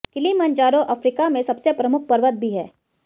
Kilimanjaro Africa में सबसे प्रमुख पर्वत भी है